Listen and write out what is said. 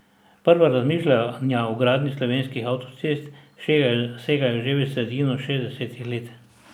Prva razmišljanja o gradnji slovenskih avtocest segajo že v sredino šestdesetih let.